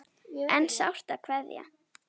En sárt er að kveðja.